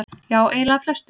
Já eiginlega flestum.